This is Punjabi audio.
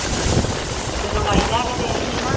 ਤੇ ਦਵਾਈ ਲੈ ਕੇ ਦੇਣੀ ਸੀ ਨਾ।